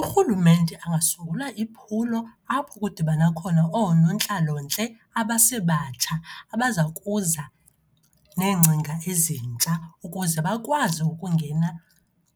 URhulumente angasungula iphulo apho kudibana khona oonontlalontle abasebatsha abaza kuza neengcinga ezintsha, ukuze bakwazi ukungena